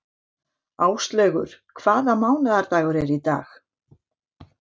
Áslaugur, hvaða mánaðardagur er í dag?